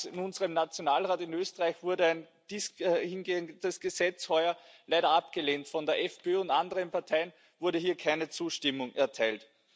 In unserem Nationalrat in Österreich wurde ein dahingehendes Gesetz heuer leider abgelehnt, von der FPÖ und anderen Parteien wurde hier keine Zustimmung erteilt.